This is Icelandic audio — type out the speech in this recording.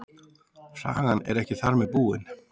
Sagan er ekki þar með búin.